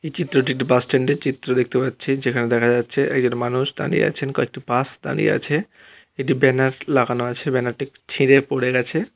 এই চিত্রটি একটি বাস স্ট্যান্ড -এর চিত্র দেখতে পাচ্ছি যেখানে দেখা যাচ্ছে একজন মানুষ দাঁড়িয়ে আছেন কয়েকটি বাস দাঁড়িয়ে আছে এটি ব্যানার লাগানো আছে ব্যানার টি ছিড়ে পড়ে গেছে।